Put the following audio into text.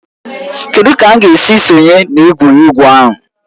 Kedụ ka m ga-esi sonye na egwuregwu ahụ?